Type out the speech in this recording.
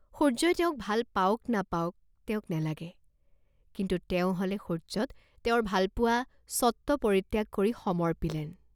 সূৰ্য্যই তেওঁক ভাল পাওক নাপাওক তেওঁক নেলাগে, কিন্তু তেওঁ হলে সূৰ্য্যত তেওঁৰ ভালপোৱা স্বত্ব পৰিত্যাগ কৰি সমৰ্পিলেন।